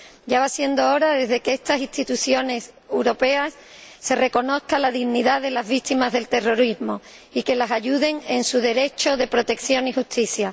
Ya va siendo hora de que, desde estas instituciones europeas, se reconozca la dignidad de las víctimas del terrorismo y se las ayude en su derecho de protección y justicia